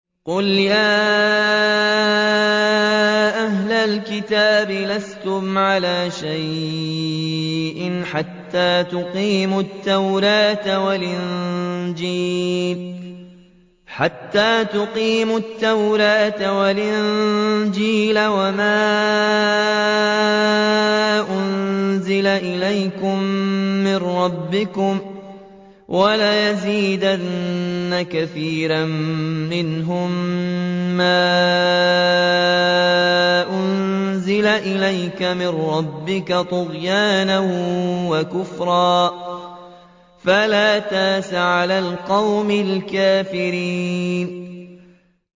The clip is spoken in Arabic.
قُلْ يَا أَهْلَ الْكِتَابِ لَسْتُمْ عَلَىٰ شَيْءٍ حَتَّىٰ تُقِيمُوا التَّوْرَاةَ وَالْإِنجِيلَ وَمَا أُنزِلَ إِلَيْكُم مِّن رَّبِّكُمْ ۗ وَلَيَزِيدَنَّ كَثِيرًا مِّنْهُم مَّا أُنزِلَ إِلَيْكَ مِن رَّبِّكَ طُغْيَانًا وَكُفْرًا ۖ فَلَا تَأْسَ عَلَى الْقَوْمِ الْكَافِرِينَ